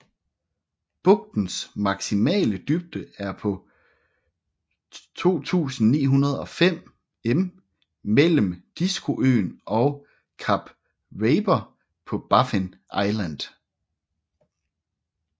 Bugtens maksimale dybde er på 2905 m mellem Diskoøen og Kap Raper på Baffin Island